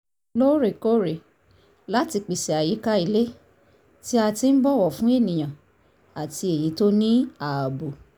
lóòrèkóòrè láti pèsè àyíká ilé tí a ti ń bọ̀wọ̀ fún ènìyàn àti èyí tó ní ààbò